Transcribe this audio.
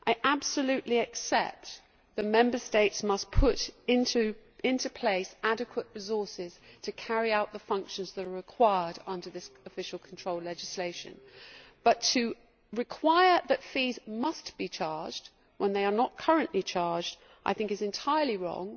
I absolutely accept that Member States must put into place adequate resources to carry out the functions that are required under this official control legislation, but to require that fees must be charged when they are not currently charged is, I think, entirely wrong